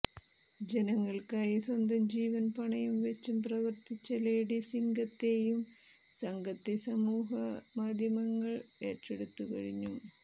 ജനങ്ങൾക്കായി സ്വന്തം ജീവൻ പണയം വെച്ചും പ്രവർത്തിച്ച ലേഡി സിങ്കത്തെയും സംഘത്തെസമൂഹമാധ്യമങ്ങൾ ഏറ്റെടുത്തു കഴിഞ്ഞു